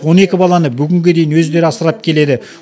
он екі баланы бүгінге дейін өздері асырап келеді